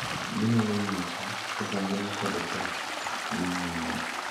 Ginyalo nyiso kaka ngima kod tho dhi nyime,